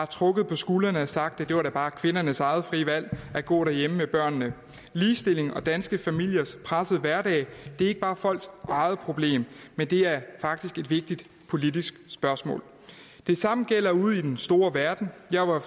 trukket på skuldrene og sagt at det da bare var kvindernes eget frie valg at gå derhjemme med børnene ligestilling og danske familiers pressede hverdag er ikke bare folks eget problem det er faktisk et vigtigt politisk spørgsmål det samme gælder ude i den store verden jeg var